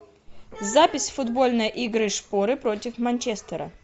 запись футбольной игры шпоры против манчестера